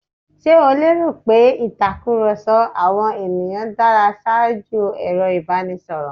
Ṣe o lẹ́rò pé ìtakùrọ̀sọ àwọn ènìyàn dára ṣaájú ẹ̀rọ ìbánisọ̀rọ̀?